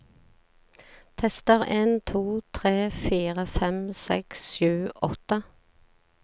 Tester en to tre fire fem seks sju åtte